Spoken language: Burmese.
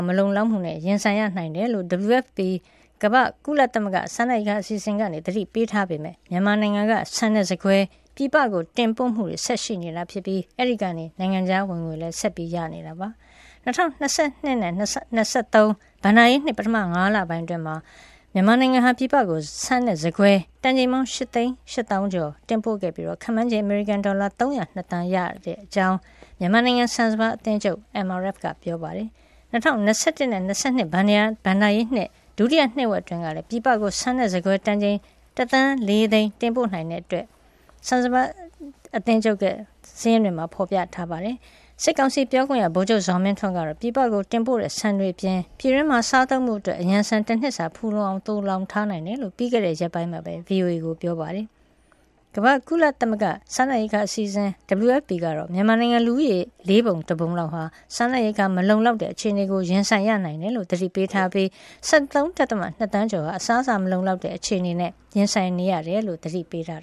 မလုံလောက်မှုနဲ့ ရင်ဆိုင်ရနိုင်တယ်လို့ WFP ကုလစားနပ်ရိက္ခာအစီအစဉ်က သတိပေးထားပေမယ့် မြန်မာနိုင်ငံက ဆန်နဲ့ ဆန်ကွဲ ပြည်ပတင်ပို့မှုတွေဆက်ရှိနေပြီး အဲဒီကနေ နိုင်ငံခြားဝင်ငွေ ဆက်ရနေပါတယ်။ ၂၀၂၂ ခုနှစ်နဲ့ ၂၀၂၃ ခုနှစ် ဘဏ္ဍာရေးနှစ် ပထမ ၅ လ ပိုင်းအတွင်း မြန်မာနိုင်ငံဟာ ဆန်နဲ့ ဆန်ကွဲတန်ချိန် ၈ သိန်း ၈ သောင်းကျော် ပြည်ပကို တင်ပို့ခဲ့ပြီး ခန့်မှန်းခြေ အမေရိကန် ဒေါ်လာ ၃၀၂ သန်း ရရှိခဲ့တဲ့အကြောင်း မြန်မာနိုင်ငံဆန်စပါး အသင်းချုပ် MRF ပြောဆိုတာကို Global New Light of Myanmar သတင်းစာမှာ ရေးပါတယ်။ ၂၀၂၁ နဲ့ ၂၂ ခုနှစ် ဘဏ္ဍာရေးနှစ် ဒုတိယ နှစ်ဝက်အတွင်းကလည်း ပြည်ပကို ဆန်နဲ့ဆန်ကွဲတန်ချိန် တသန်း ၄ သိန်း တင်ပို့နိုင်ခဲ့တဲ့အကြောင်း ဆန်စပါး အသင်းချုပ်ရဲ့ စာရင်းတွေမှာ ဖေါ်ပြပါတယ်။ စစ်ကောင်စီ ပြောခွင့်ရ ဗိုလ်ချုပ်ဇော်မင်းထွန်းကတော့ ပြည်ပကိုတင်ပို့နေတဲ့ ဆန်တွေအပြင် ပြည်တွင်းမှာစားသုံးဖို့ အရံဆန် တနှစ်စာဖူလုံအောင် သိုလှောင်ထားတယ်လို့ ပြီးခဲ့တဲ့ရက်ပိုင်းက VOA ကို ပြောဆိုပါတယ်။ ကုလသမဂ္ဂ ကမ္ဘာ့စားနပ်ရိက္ခာအစီအစဉ် WFP ကတော့ မြန်မာနိုင်ငံလူဦးရေရဲ့ လေးပုံတပုံဟာ စားနပ်ရိက္ခာ မလုံလောက်တဲ့အခြေအနေကို ရင်ဆိုင်ရနိုင်တယ်လို့ သတိပေးထားပြီး ၁၃.၂ သန်းကျော် အစားအစာမလုံလောက်တဲ့အခြေအနေ ရင်ဆိုင်နေရတယ်ဆိုပြီး သတိပေးထား